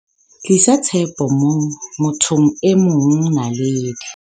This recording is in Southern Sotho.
Tlisa tshepo mo thong e mongNaledi